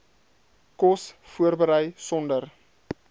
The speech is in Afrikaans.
kos voorberei sonder